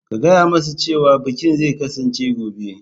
Ka gaya musu cewa bikin zai kasance gobe.